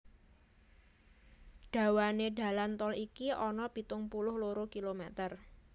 Dawané dalan tol iki ana pitung puluh loro kilometer